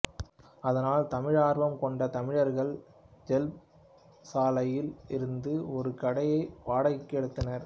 அதனால் தமிழார்வம் கொண்ட தமிழர்கள் ஜெல்ப் சாலையில் இருந்த ஒரு கடையை வாடகைக்கு எடுத்தனர்